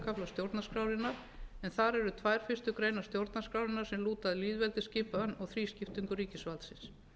stjórnarskrárinnar en þar eru tvær fyrstu greinar stjórnarskrárinnar sem lúta að lýðveldisskipan og þrískiptingu ríkisvaldsins